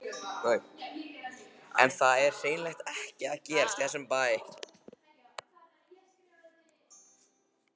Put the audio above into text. En það er hreinlega ekkert að gerast í þessum bæ.